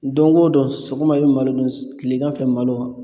Don o don sɔgɔma a be malo dun tilegan fɛ malo